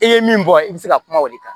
I ye min bɔ i bɛ se ka kuma o de kan